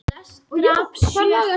Tía, hvernig er veðrið úti?